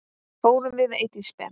Fórum við Eydís Ben.